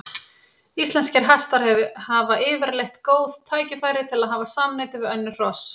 Íslenskir hestar hafa yfirleitt góð tækifæri til að hafa samneyti við önnur hross.